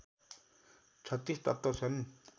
३६ तत्त्व छन्